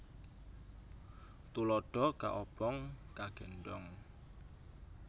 Tuladha kaobong kagéndhong